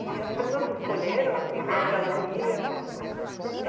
E as pessoas escolheram, assim, para onde elas iam?